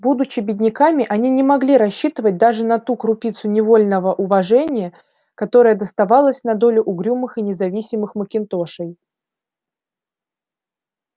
будучи бедняками они не могли рассчитывать даже на ту крупицу невольного уважения которая доставалась на долю угрюмых и независимых макинтошей